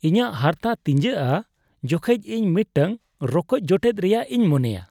ᱤᱧᱟᱹᱜ ᱦᱟᱨᱛᱟ ᱛᱤᱧᱡᱟᱹᱜᱼᱟ ᱡᱚᱠᱷᱮᱡ ᱤᱧ ᱢᱤᱫᱴᱟᱝ ᱨᱚᱠᱚᱡ ᱡᱚᱴᱮᱫ ᱨᱮᱭᱟᱜ ᱤᱧ ᱢᱚᱱᱮᱭᱟ ᱾